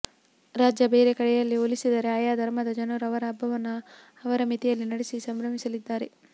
ರಾಜ್ಯ ಬೇರೆ ಕಡೆಯಲ್ಲಿ ಹೋಲಿಸಿದರೆ ಆಯಾ ಧರ್ಮದ ಜನರು ಅವರ ಹಬ್ಬವನ್ನು ಅವರ ಮಿತಿಯಲ್ಲಿ ನಡೆಸಿ ಸಂಭ್ರಮಿಸಲಿದ್ದಾರೆ